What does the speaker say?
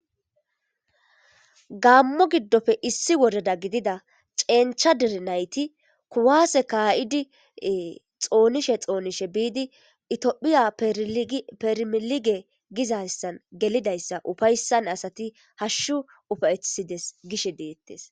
gammo giddofe issi wodeda gidida cencha dire nayti kuwaase kaa7idi xoonishe xoonishe biidi itiophiya permilige gizayssan gelidayssa ufayssan asati hashshu ufaytheides gishe deettes